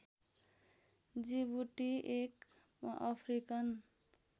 Djibouti एक African